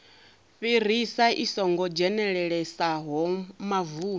fhirisa i songo dzhenelelesaho mavuni